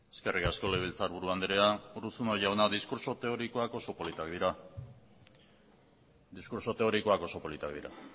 eskerrik asko legebiltzarburu andrea urruzuno jauna diskurtso teorikoak oso politak dira